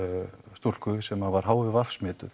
stúlku sem var h i v smituð